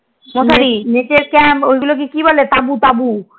net এর camp ওগুলো ক বলে তাবু তাবু